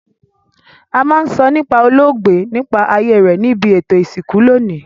A ma n sọ nípá olóògbé nígbà ayé rẹ nibi ètò ìsìnkú loní